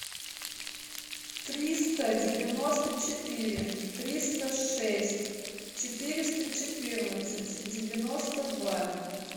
триста девяносто четыре триста шесть четыреста четырнадцать девяносто два